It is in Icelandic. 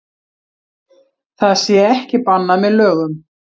Það sé ekki bannað með lögum